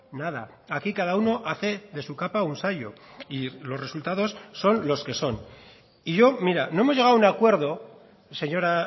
nada aquí cada uno hace de su capa un sayo y los resultados son los que son y yo mira no hemos llegado a un acuerdo señora